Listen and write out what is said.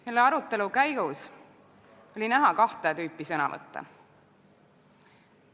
Selle arutelu käigus oli näha kahte tüüpi sõnavõtte.